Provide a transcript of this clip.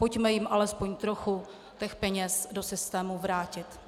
Pojďme jim aspoň trochu těch peněz do systému vrátit.